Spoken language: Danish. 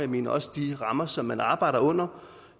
men også de rammer som man arbejder under